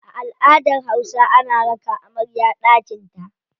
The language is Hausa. A aladar hausa, ana raka amarya daƙinta.